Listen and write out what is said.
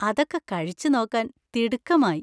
അതൊക്കെ കഴിച്ചുനോക്കാന്‍ തിടുക്കമായി!